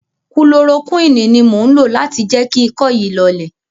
Kulorokúìnì ni mò ń lo láti jẹ́ kí ikọ́ yìí lọọlẹ̀.